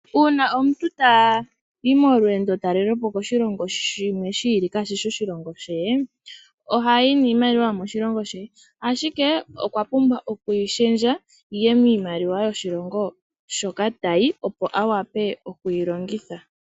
Una omuntu tayi molweendo talelopo koshilongo shimwe shiili kaa shishi oshilongo she, oha yi niimaliwa yomoshilongo she, ashike okwa pumbwa oku yi shendja. Yiye miimaliwa yoshilongo hoka tayi opo a wape okuyi longitha.